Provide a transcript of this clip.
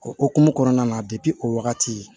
O okumu kɔnɔna na o wagati